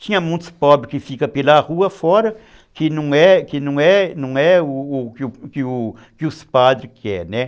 Tinha muitos pobres que ficam pela rua fora, que não que não é não é o que os padres querem, né.